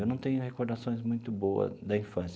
Eu não tenho recordações muito boas da infância.